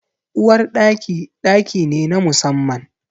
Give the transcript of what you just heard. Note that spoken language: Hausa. Uwar Ɗaki, ɗaki ne na musamman.